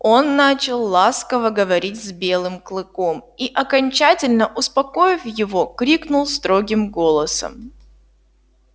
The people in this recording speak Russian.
он начал ласково говорить с белым клыком и окончательно успокоив его крикнул строгим голосом